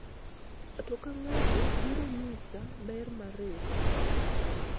ng'ato ka ng'ato biro nyisa ber mar riwruok